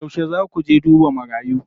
Yauce zaa ku je duba marayu?